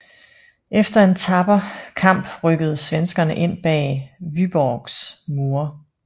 Efter en tapper kamp rykkede svenskerne ind bag Vyborgs mure